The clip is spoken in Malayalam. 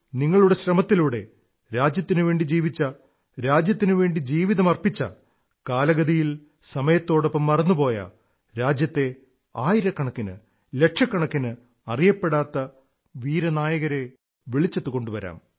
നിങ്ങളുടെ ശ്രമത്തിലൂടെ രാജ്യത്തിനുവേണ്ടി ജീവിച്ച രാജ്യത്തിനുവേണ്ടി ജീവിതമർപ്പിച്ച കാലഗതിയിൽ സമയത്തോടൊപ്പം മറന്നുപോയ രാജ്യത്തെ ആയിരക്കണക്കിന് ലക്ഷക്കണക്കിന് അിറയപ്പെടാത്ത ഹീറോകളെ വെളിച്ചത്തുകൊണ്ടുവരും